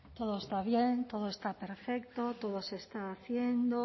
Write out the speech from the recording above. todo está bien todo está perfecto todo se está haciendo